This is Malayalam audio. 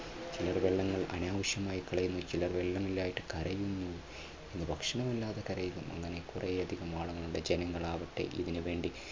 ചിലർ വെള്ളങ്ങൾ അനാവശ്യമായിട്ട് കളയുന്നു, ചിലർ വെള്ളമില്ലാഞ്ഞിട്ട് കരയുന്നു, ഭക്ഷണമില്ലാതെ കരയുന്നു അങ്ങനെ കുറെയധികം ആളുകൾ ഉണ്ട്. ജനങ്ങൾ ആവട്ടെ ഇതിനുവേണ്ടി